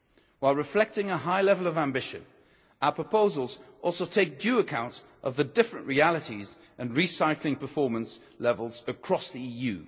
While reflecting a high level of ambition, our proposals also take due account of the different realities and recycling performance levels across the EU.